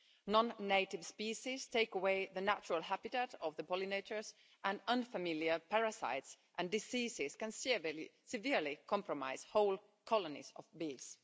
Non native species take away the natural habitat of the pollinators and unfamiliar parasites and diseases can severely compromise whole colonies of bees.